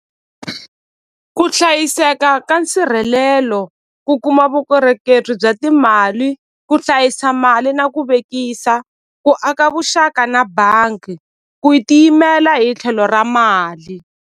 Ku hlayiseka ka nsirhelelo ku kuma vukorhokeri bya timali ku hlayisa mali na ku vekisa ku aka vuxaka na bangi ku tiyimela hi tlhelo ra mali.